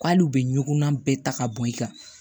K'ale u bɛ ɲɔgɔnna bɛɛ ta ka bɔ i kan